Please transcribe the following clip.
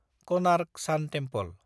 Konark sun temple